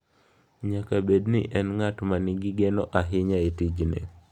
Nyaka bed ni en ng’at ma nigi geno ahinya e tijni.